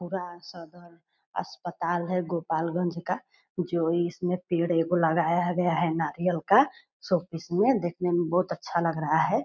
पूरा सदर अस्पताल है गोपालगंज का जो इसमें पेड़ एगो लगाया गया है नारियल का। शो-पीस में देखने में बहुत अच्छा लग रहा है।